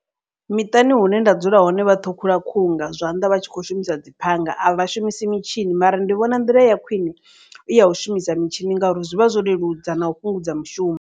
Miṱani hune nda dzula hone vha ṱhukhula khuhu nga zwanḓa vha tshi kho shumisa dzi phanga. A vha shumisi mitshini mara ndi vhona nḓila ya khwine i ya u shumisa mitshini ngauri zwivha zwo leludza na u fhungudza mushumo.